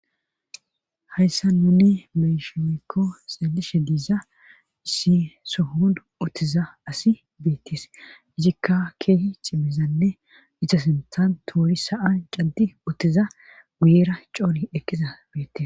Hayssa nunne mesheykko xeelishe diiza issi sohon ottiza asi beettes izikka keehi cimizanne itosintan toori sa7an caddi ottiza guyera coori ekqiza beettes